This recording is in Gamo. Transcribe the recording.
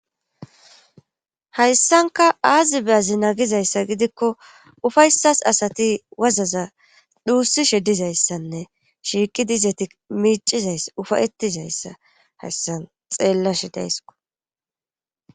Hayssanka aazi be azina gizayssa gidikko ufaysas asati wazaza dhuussishe dizayssanne shiiqi dizeti miicizayss ufayetizayssa hayssan xeellashe daysko.